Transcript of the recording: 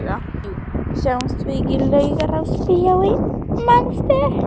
Jú, sáumst við ekki í Laugarásbíói, manstu?